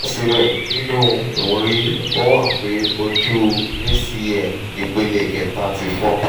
sibẹsibẹ ninu mri o han pe oju acl ipele keta ti fọ